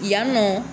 Yan nɔ